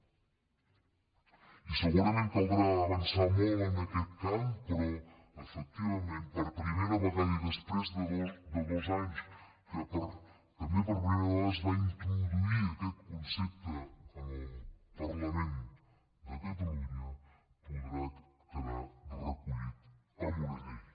i segurament caldrà avançar molt en aquest camp però efectivament per primera vegada i després de dos anys que també per primera vegada es va introduir aquest concepte en el parlament de catalunya podrà quedar recollit en una llei